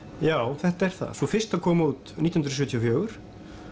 já þetta er það sú fyrsta kom út nítján hundruð sjötíu og fjögur